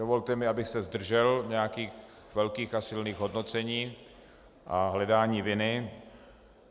Dovolte mi, abych se zdržel nějakých velkých a silných hodnocení a hledání viny.